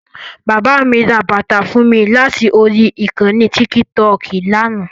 Bàbá mi ra bàtà fún mi láti orí ìkànnì tíkítọọ̀kì lánàá